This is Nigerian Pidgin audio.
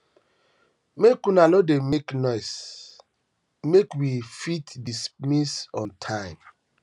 maka una no dey make noise make we um fit dismiss on time